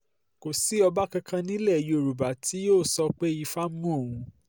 kò sí ọba kankan nílẹ̀ yorùbá tí yóò sọ pé ifá mú òun